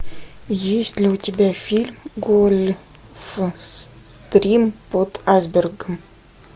есть ли у тебя фильм гольфстрим под айсбергом